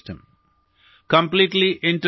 നാം അതിനെ സംരക്ഷിക്കണം അതിനെ പരിപോഷിപ്പിക്കണം